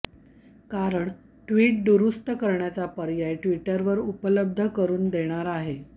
कारण ट्विट दुरुस्त करण्याचा पर्याय ट्विटर उपलब्ध करुन देणार आहे